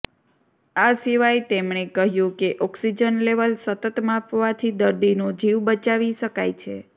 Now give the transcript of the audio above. આ સિવાય તેમણે કહ્યું કે ઓક્સિજન લેવલ સતત માપવાથી દર્દીનો જીવ બચાવી શકાય છે